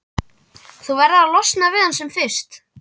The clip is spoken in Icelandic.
Þú verður að losna við hann sem fyrst.